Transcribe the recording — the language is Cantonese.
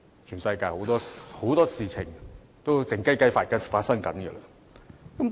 全世界有很多事情都是"靜雞雞"地進行的。